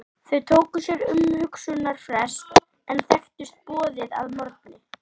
Þau tóku sér umhugsunarfrest en þekktust boðið að morgni.